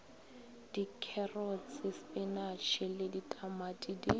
dikherotse sepinatšhe le ditamati di